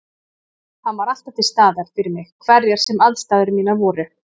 Hann var alltaf til staðar fyrir mig hverjar sem aðstæður mínar voru.